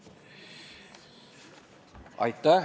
Urve Tiidus palun!